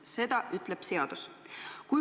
Seda ütleb seadus.